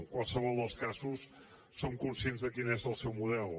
en qualsevol dels casos som conscients de quin és el seu model